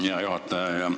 Hea juhataja!